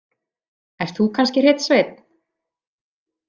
Ert þú kannski hreinn sveinn?